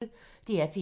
DR P1